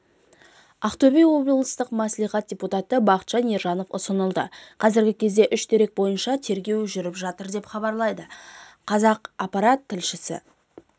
ақтөбе облыстық мәслихат депутаты бақытжан ержанов ұсталды қазіргі кезде үш дерек бойынша тергеу жүріп жатыр деп хабарлайды қазақпарат тілшісі